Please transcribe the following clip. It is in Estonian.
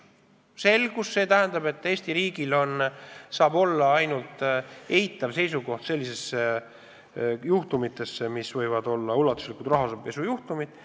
Ja selgus ka selles, et Eesti riigil saab olla ainult eitav suhtumine ulatusliku rahapesu juhtumitesse.